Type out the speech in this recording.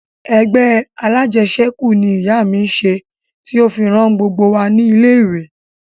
Ẹgbẹ́ alájẹṣẹ́kù ni ìyá mi ṣe tí ó fi rán gbogbo wa ní ilé ìwé